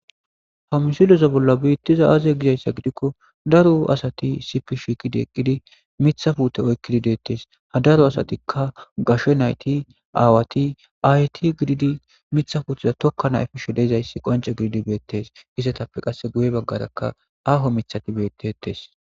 ha misileza bolla biittiza aaze gizayssa gidikko daro asati sipishikidi eqqidi mithafute oykkidi deettes ha daro asatikka gashe nayti aawati ayti gididi mithafutiza tokka nayfi shideezayssi qonce gididi beettes issetappe qasse guye baggarakka aaho mithati bettetes